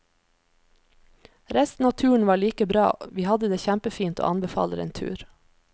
Resten av turen var like bra, vi hadde det kjempefint og anbefaler en tur.